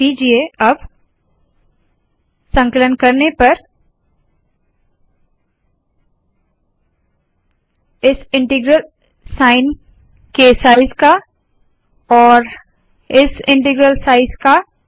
ध्यान दीजिए इस इन्टग्रल साइन के साइज़ का और इस इन्टग्रल के साइज़ का